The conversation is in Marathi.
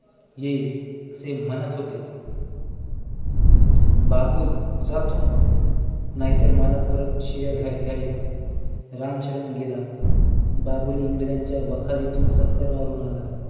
येईल असे म्हणत होते बाबूल जातो नाहीतर मालक परत शिव्या द्यायचा रामशरण गेला बाबूल इंग्रजांच्या वाखारीतून चक्कर मारून आला